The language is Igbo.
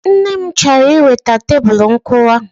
Nne m chọrọ iweta Tebulu nkụwa